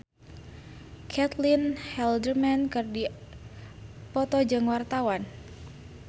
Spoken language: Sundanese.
Caitlin Halderman jeung Aham Sharma keur dipoto ku wartawan